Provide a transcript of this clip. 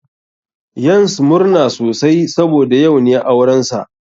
Yans murna sosai saboda yau ne aurensa.